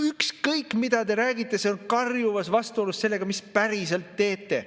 Ükskõik, mida te räägite, see on karjuvas vastuolus sellega, mida te päriselt teete.